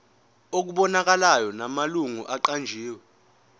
okubonakalayo namalungu aqanjiwe